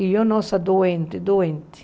E eu, nossa, doente, doente.